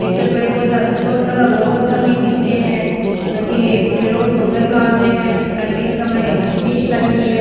निचे पेड़ पौधा थोड़ा बहोत पौधा भी दिख रे है भटीन एक फुटेलो सो घर लाग रे है और बीच में एक छतरी सी लाग री है।